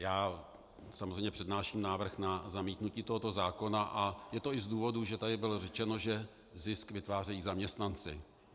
Já samozřejmě přednáším návrh na zamítnutí tohoto zákona a je to i z důvodů, že tady bylo řečeno, že zisk vytvářejí zaměstnanci.